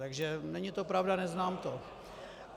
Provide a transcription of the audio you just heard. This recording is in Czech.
Takže není to pravda, neznám to.